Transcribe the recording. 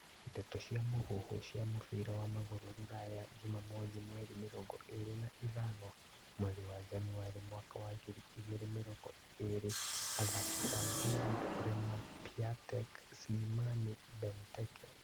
Ndeto cia mũhuhu cia mũbira wa magũrũ Rũraya juma mothi mweri mĩrongo ĩrĩ na ithano mweri wa Januarĩ mwaka wa ngiri igĩrĩ mĩrongo ĩrĩ athaki ta Giroud, Lemar, Piatek, Slimani, Benteke